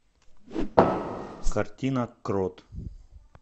картина крот